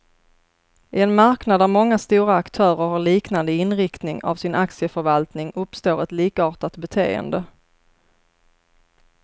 I en marknad där många stora aktörer har liknande inriktning av sin aktieförvaltning, uppstår ett likartat beteende.